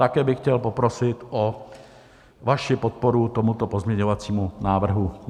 Také bych chtěl poprosit o vaši podporu tomuto pozměňovacímu návrhu.